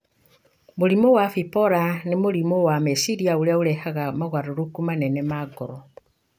Mũrimũ wa bipolar nĩ mũrimũ wa meciria ũrĩa ũrehaga mogarũrũku manene ma ngoro,